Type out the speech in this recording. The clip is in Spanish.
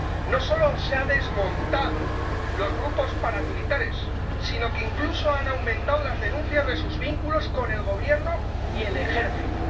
No solo no se han desmontado los grupos paramilitares, sino que incluso han aumentado las denuncias de sus vínculos con el Gobierno y el Ejército.